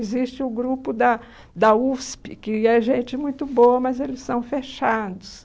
Existe o grupo da da USP, que é gente muito boa, mas eles são fechados.